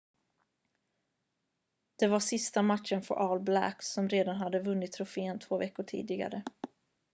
det var sista matchen för all blacks som redan hade vunnit trofén två veckor tidigare